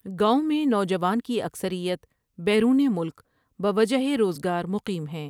گاؤں میں نوجوان کی اکثریت بیرون ملک بوجہ روزگار مقیم ہیں ۔